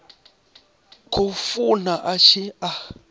khou funa a tshi a